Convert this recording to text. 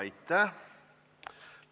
Aitäh!